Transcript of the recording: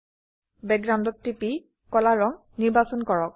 Backgroundত টিপি কলা ৰঙ নিৰ্বাচন কৰক